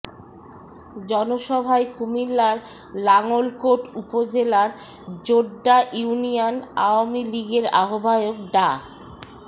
জনসভায় কুমিল্লার লাঙ্গলকোট উপজেলার জোড্ডা ইউনিয়ন আওয়ামী লীগের আহ্বায়ক ডা